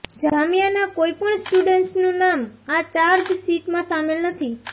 જામિયાના કોઈ પણ સ્ટુડન્ટસનું નામ આ ચાર્જશીટમાં સામેલ નથી